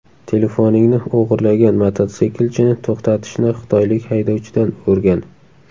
Telefoningni o‘g‘irlagan mototsiklchini to‘xtatishni xitoylik haydovchidan o‘rgan!